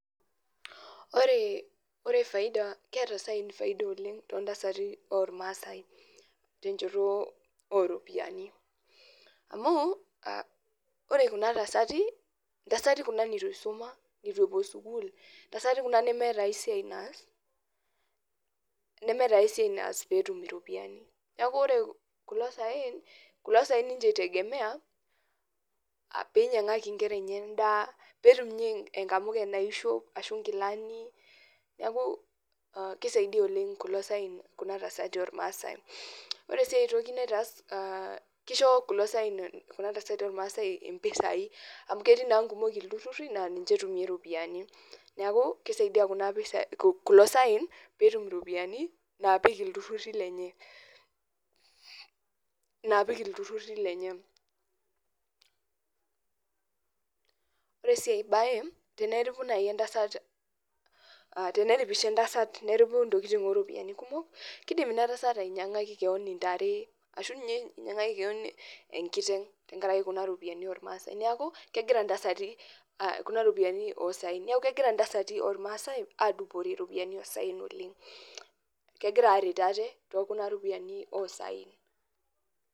Ore faida keeta saen faida oleng tontasati ormaasai tenchoto oropiyiani. Amu, ore kuna tasati, ntasati kuna nitu isuma, nitu epuo sukuul, ntasati kuna nemeeta aisiai naas, nemeeta aisiai naas peetum iropiyiani. Neeku ore kulo saen, kulo saen inche i tegemea, pinyang'aki nkera enye endaa, petum inye enkamuke naishop, ashu nkilani, neku kisaidia oleng kulo saen kuna tasati ormaasai. Ore enkae toki naitaas kisho kulo saen kuna tasati ormaasai impisai, amu ketii naa nkumok ilturrurri naa ninche etumie iropiyiani. Neeku, kisaidia kuna pisai kulo saen petum iropiyiani, napik ilturrurri lenye. Naapik ilturrurri lenye. Ore si ai bae, teneripu nai entasat, teneripisho entasat neripu ntokiting oropiyiani kumok, kidim inatasat ainyang'aki keon intare, ashu inye inyang'aki keon enkiteng tenkaraki kuna ropiyiani ormaasai. Neeku, kegira ntasati, kuna ropiyiani osaen. Neeku kegira intasati ormaasai adupore ropiyiani osaen oleng. Kegira aret ate tokuna ropiyiani osaen.